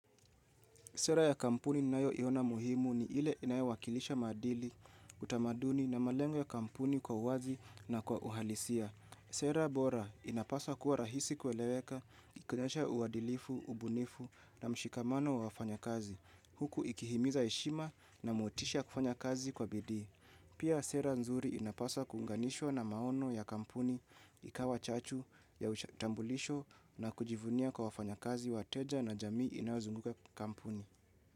Sera ya kampuni ninayoiona muhimu ni ile inayo wakilisha maadili, utamaduni na malengo ya kampuni kwa uwazi na kwa uhalisia. Sera bora inapaswa kuwa rahisi kueleweka, kuonyesha uadilifu, ubunifu na mshikamano wa wafanya kazi. Huku ikihimiza heshima na motisha kufanya kazi kwa bidii. Pia sera nzuri inapaswa kuunganishwa na maono ya kampuni ikawa chachu ya utambulisho na kujivunia kwa wafanya kazi wateja na jamii inayozunguka kampuni.